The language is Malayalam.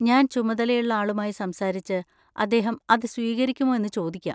ഞാൻ ചുമതലയുള്ള ആളുമായി സംസാരിച്ച് അദ്ദേഹം അത് സ്വീകരിക്കുമോ എന്ന് ചോദിക്കാം.